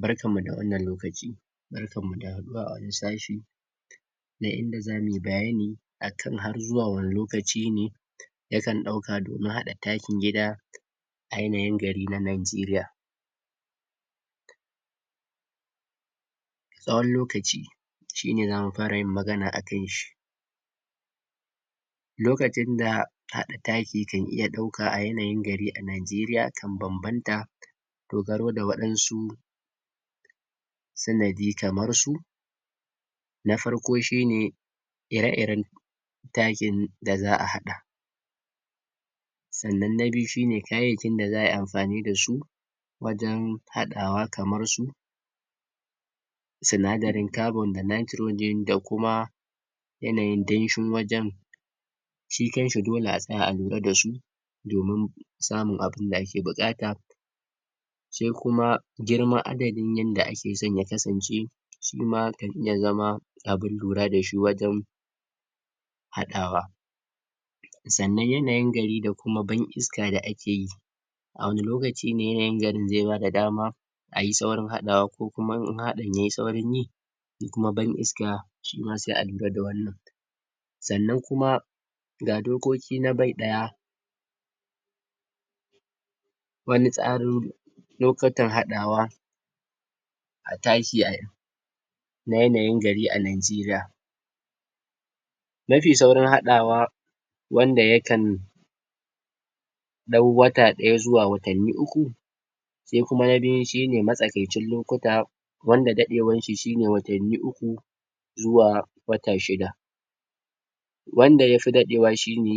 Barkan mu da wannan lokaci, barkan mu da haɗuwa a wani sashi, na inda zamuyi bayani a kan har zuwa wani lokaci ne yakan ɗauka domun haɗa takin gida a yanayin gari na Nigeria tsawon lokaci, shine zamu fara yin magana a kan shi. Lokacin da haɗa taki kan iya ɗauka a yanayin gari a Nigeria sun bambanta, dogaro da waɗansu sanadi kamar su; na farko shine ire-iren takin da za'a haɗa, sannan na biyu shine kayayyakin da za'ayi amfani da su wajan haɗawa, kamar su sinadarin carbon da nitrogen da kuma yanayin danshin wajen, shi kan shi dole a tsaya a lura da su, domun samun abinda ake buƙata. Sai kuma girman adadin yanda ake son ya kasance, shi ma ya zama abun lura da shi wajan haɗawa. Sannan yanayin gari da kuma ban iska da ake yi, a wani lokaci ne yanayin garin ze bada dama ayi saurin haɗawa, ko kuma in haɗin yai saurin yi, shi kuma ban iska shi ma sai a lura da wannan. Sannan kuma dokoki na bai ɗaya wani tsaror lokutan haɗawa a taki a na yanayin gari a Nigeria. Mafi saurin haɗawa, wanda ya kan ɗau wata ɗaya zuwa watanni uku. Se kuma na biyu shi ne matsakaicin lokuta wanda daɗewan shi shine watanni uku zuwa wata shida. Wanda yafi daɗewa shi ne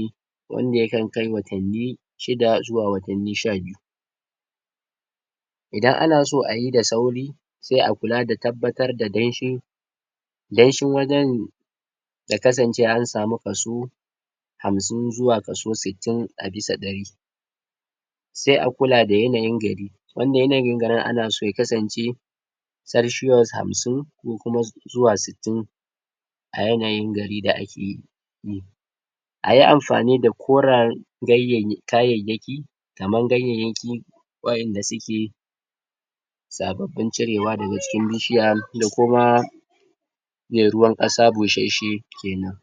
wanda ya kan kai watanni shida zuwa watanni sha biyu. Idan ana so ayi da sauri sai a kula da tabbatar da danshi, danshin wajan ya kasance an samu kaso hamsin zuwa kaso sittin a bisa ɗari. Sai a kula da yanayin gari, wanda yanayin gari ana so ya kasance celcius hamsin ko kuma zuwa sittun a yanayin garin da a ke. Ayi amfani da korar kayayyaki, kaman ganyayyaki wa'inda suke sababbin cirewa daka jikin bishiya da kuma me ruwan ƙasa bushashshe kenan.